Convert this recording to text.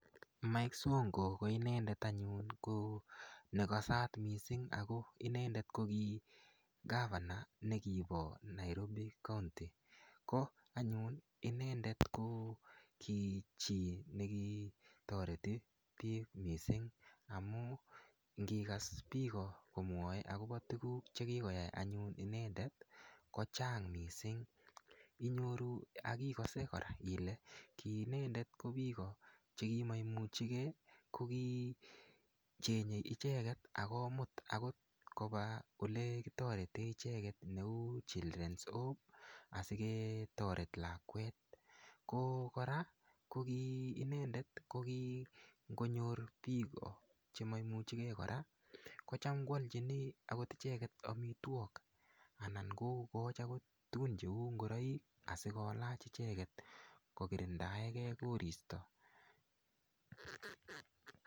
Mike sonko ko inendet anyun ko nekasat mising' ako inendet ko ki governor nekibo Nairobi county ko anyun inendet ko ki chi nekitoreti biik mising' amu ngikas biko komwoei akobo tuguk chekikoyai anyun inendet kochang' mising' inyoru akikose kora ile kiinendet ko biko chekimainuchigei kokichenyei icheget akomut akot koba ole kitorete icheget neu children's home asiketoret lakwet ko kora kokiinendet kokingonyor biko chemaimuchigei kora kocham koalchini akot icheget omitwok anan kokoch akot tugun cheu ngoroik asikolach icheget kokirindaegei koristo